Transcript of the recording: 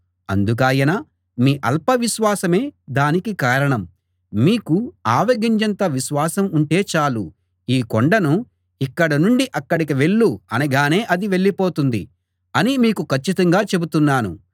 అందుకాయన మీ అల్పవిశ్వాసమే దానికి కారణం మీకు ఆవగింజంత విశ్వాసం ఉంటే చాలు ఈ కొండను ఇక్కడ నుండి అక్కడికి వెళ్ళు అనగానే అది వెళ్ళిపోతుంది అని మీతో కచ్చితంగా చెబుతున్నాను